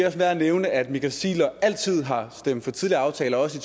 også værd at nævne at michael ziegler altid har stemt for tidligere aftaler også i